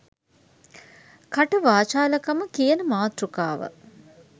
" කට වාචාල කම " කියන මාතෘකාව